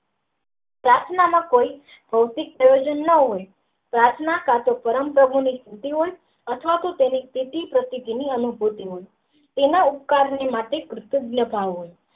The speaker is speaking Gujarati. પ્રાર્થના માં કોઈ ભૌતિક ગુણધર્મ ન હોય પ્રાર્થના કા તો પરમ ભગવાની ની અથવા તો તેના ઉપકરણ માટે.